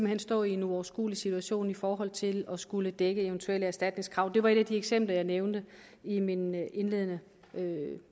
hen stå i en uoverskuelig situation i forhold til at skulle dække et eventuelt erstatningskrav det var et af de eksempler jeg nævnte i min indledende